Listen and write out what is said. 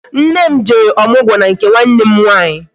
Nne m jere ọmụgwọ n'nke nwanne m nwaanyị